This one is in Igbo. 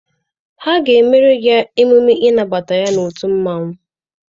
Ha ga-emere ya mmemme ịnabata n'otu mmanwụ.